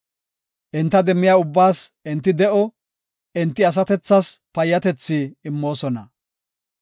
Enta demmiya ubbaas enti de7o; enti asatethas payyatethi immoosona.